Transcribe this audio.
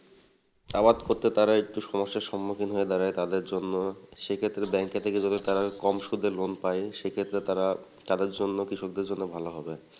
আবাদ করতে তারা একটু সমস্যার সম্মুখীন হয়ে দাঁড়ায় তাদের জন্য সে ক্ষেত্রে bank থেকে যদি তারা কম সুদে loan পাই সেক্ষেত্রে তারা তাদের জন্য কৃষকদের জন্য ভালো হবে ।